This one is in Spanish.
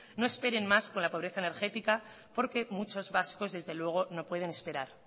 no esperen más con la pobreza energética porque muchos vascos desde luego no pueden esperar